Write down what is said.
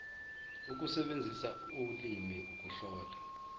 ukusebenzisa ulimi ukuhlola